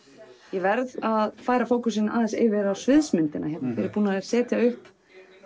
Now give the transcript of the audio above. ég verð að færa fókusinn yfir á sviðsmyndina hér er búið að setja upp